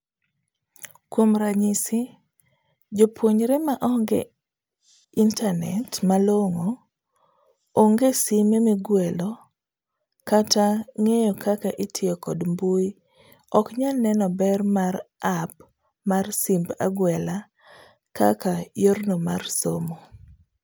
Kuom ranyisi, japuonjre maonge internate malong'o, oonge sime migwelo kata ng'eyo kaka itiyo kod mbui ok nyalo neno ber mar app mar simb agwela kaka yorno mar somo.